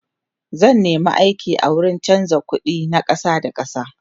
zan nema aiki a wurin chanza ƙuɗi na ƙasa da ƙasa